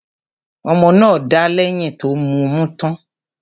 Ọmọ náà dà lẹ̀yìn tó mọmú tán.